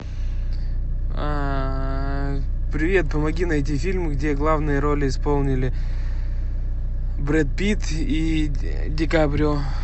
привет помоги найти фильм где главные роли исполнили брэд питт и дикаприо